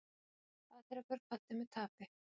Patrekur kvaddi með tapi